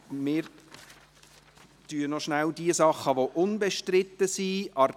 Wir behandeln noch rasch die Sachen, die unbestritten sind.